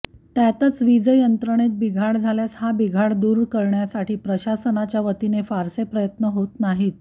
त्यातच वीजयंत्रणेत बिघाड झाल्यास हा बिघाड दूर करण्यासाठी प्रशासनाच्या वतीने फारसे प्रयत्न होत नाहीत